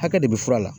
Hakɛ de bɛ fura la